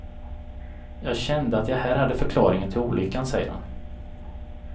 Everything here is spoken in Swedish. Jag kände att jag här hade förklaringen till olyckan, säger han.